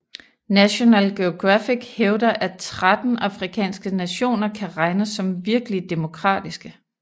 National Geographic hævder at 13 afrikanske nationer kan regnes som virkelig demokratiske